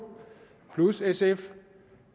plus sf